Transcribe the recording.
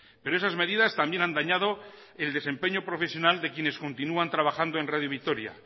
pero esas medidas también han dañado el desempeño profesional de quienes continúan trabajando en radio vitoria